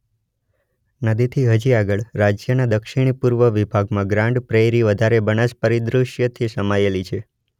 નદીથી હજી આગળ રાજ્યના દક્ષિણી પૂર્વી વિભાગમાં ગ્રાન્ડ પ્રેઇરી વધારે બનાસ પરિદૃશ્યથી સમાયેલી છે.